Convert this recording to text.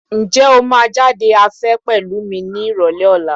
Ǹjẹ́ o máa jáde afẹ́ pẹ̀lú mi ní Ìrọ̀lẹ́ ọ̀la?